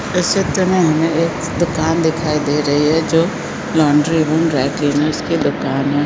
इस चित्र में हमे एक दुकान दिखाई दे रही है जो लोंडरी एण्ड ड्राइक्लीनर की दुकान है।